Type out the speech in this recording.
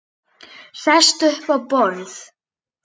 Sest upp á borð.